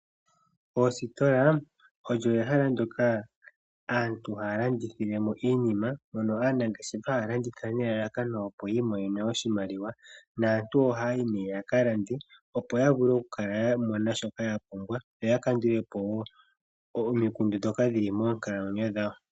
Oositola odho ehala ndyoka aantu haya landithilemo iinima. Aanangeshefa haya landitha nelalakano yamone oshimaliwa. Aantu ohaya yi yakalande, opo ya vule okumona shoka yapumbwa moonkalamwenyo dhawo.